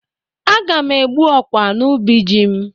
Aga m egbu ọkwa n'ubi ji m.